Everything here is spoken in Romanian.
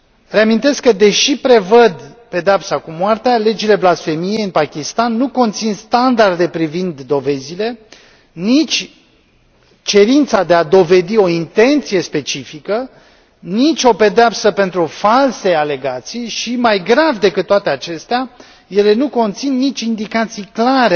Reamintesc că, deși prevăd pedeapsa cu moartea, legile blasfemiei în Pakistan nu conțin standarde privind dovezile, nici cerința de a dovedi o intenție specifică, nici o pedeapsă pentru false alegații și, mai grav decât toate acestea, ele nu conțin nici indicații clare